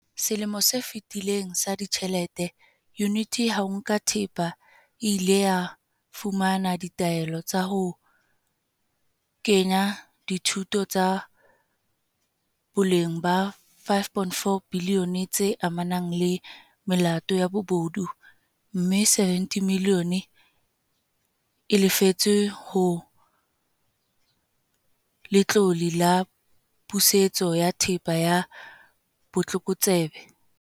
Selemong se fetileng sa ditjhelete, Yuniti ya ho Nka Thepa e ile ya fumana ditaelo tsa ho kgina dithoto tsa boleng ba R5.4 bilione tse amanang le melato ya bobodu, mme R70 milione e lefetswe ho Letlole la Pusetso ya Thepa ya Botlokotsebe.